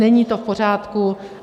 Není to v pořádku.